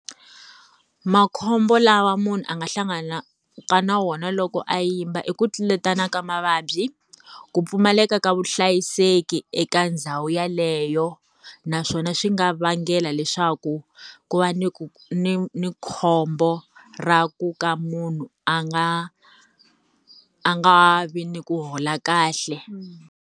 Makhombo lawa munhu a nga hlanganaka na wona loko a yimba i ku tluletana ka mavabyi, ku pfumaleka ka vuhlayiseki eka ndhawu yeleyo, naswona swi nga vangela leswaku ku va ni ni ni khombo, ra ku ka munhu a nga a nga vi ni ku hola kahle.